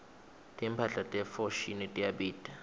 timphahla te foschini tiyabita